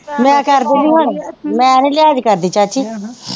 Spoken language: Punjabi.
ਲੈ ਕੱਢ ਦਿੰਦੀ ਹਾਂ ਹੁਣ, ਮੈਂ ਹਜੇ ਲਿਹਾਜ਼ ਕਰਦੀ ਹਾਂ ਚਾਚੀ